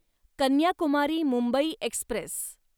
Kanyakumari Mumbai Express